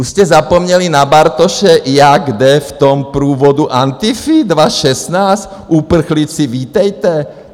Už jste zapomněli na Bartoše, jak jde v tom průvodu Antify 2016 - uprchlíci, vítejte?